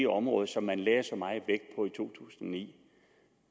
område som man lagde så meget i to tusind og ni